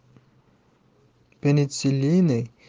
пенициллин